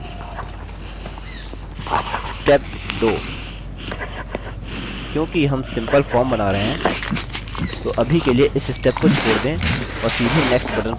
step 2 क्योंकि हम simple form बना रहे हैं तो अभी के लिए इस step को छोड़ दें और सीधे next button पर click करें